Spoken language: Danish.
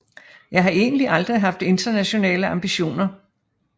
Jeg har egentlig aldrig haft internationale ambitioner